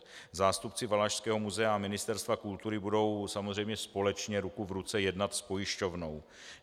Zástupci Valašského muzea a Ministerstva kultury budou samozřejmě společně ruku v ruce jednat s pojišťovnou.